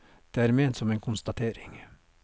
Det er ment som en konstatering.